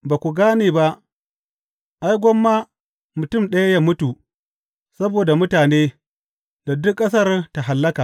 Ba ku gane ba, ai, gwamma mutum ɗaya yă mutu saboda mutane da duk ƙasar ta hallaka.